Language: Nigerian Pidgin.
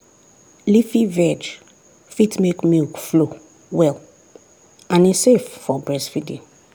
leafy veg fit make milk flow well and e safe for breastfeeding.